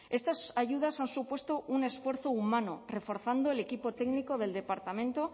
estas ayudas han supuesto un esfuerzo humano reforzando el equipo técnico del departamento